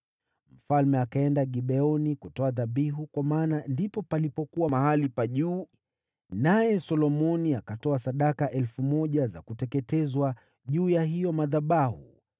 Mfalme akaenda Gibeoni kutoa dhabihu, kwa maana ndipo palipokuwa mahali pa juu pa kuabudia, naye Solomoni akatoa sadaka elfu moja za kuteketezwa juu ya hayo madhabahu.